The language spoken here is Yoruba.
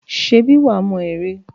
Ṣèbí wà á mọ ère?